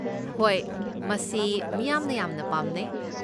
ꯍꯣꯏ, ꯃꯁꯤ ꯃꯤꯌꯥꯝꯅ ꯌꯥꯝꯅ ꯄꯥꯝꯅꯩ꯫